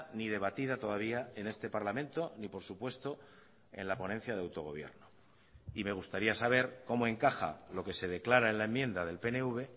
ni debatida todavía en este parlamento ni por supuesto en la ponencia de autogobierno y me gustaría saber cómo encaja lo que se declara en la enmienda del pnv